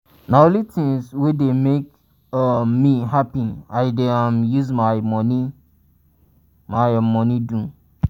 na only tins wey dey make um me hapi i dey um use my um moni my um moni do.